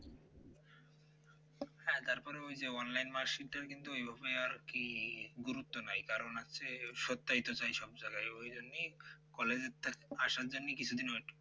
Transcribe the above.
তারপরে ওই যে online mark sheet টার কিন্তু হওয়ার কি গুরুত্ব নাই কারণ হচ্ছে ওর সত্ত্বায় তো চাই সব জায়গায় ওই জন্যেই college এ তো আসার জন্য কিছুদিন wait কর